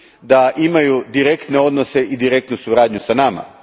da imaju direktne odnose i direktnu suradnju s nama.